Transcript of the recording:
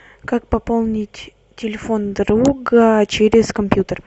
как пополнить телефон друга через компьютер